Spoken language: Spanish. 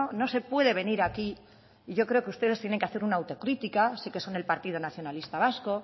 no se puede venir aquí y yo creo que ustedes tienen que hacer un autocritica sí que son el partido nacionalista vasco